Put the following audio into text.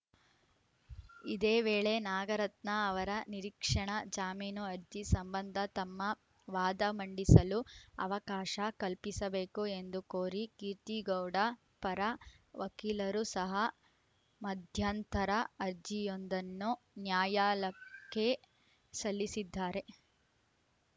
ಇದೇ ವೇಳೆ ನಾಗರತ್ನ ಅವರ ನಿರೀಕ್ಷಣಾ ಜಾಮೀನು ಅರ್ಜಿ ಸಂಬಂಧ ತಮ್ಮ ವಾದ ಮಂಡಿಸಲು ಅವಕಾಶ ಕಲ್ಪಿಸಬೇಕು ಎಂದು ಕೋರಿ ಕೀರ್ತಿಗೌಡ ಪರ ವಕೀಲರು ಸಹ ಮಧ್ಯಂತರ ಅರ್ಜಿಯೊಂದನ್ನು ನ್ಯಾಯಾಲಕ್ಕೆ ಸಲ್ಲಿಸಿದ್ದಾರೆ